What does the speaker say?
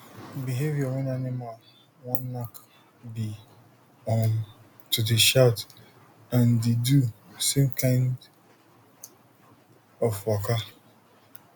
behaviour wen animal wan knack be um to dey shout and the do same kind of waka